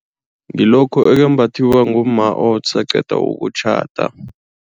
Ngilokhu okumbathwa ngumma osaqeda ukutjhada.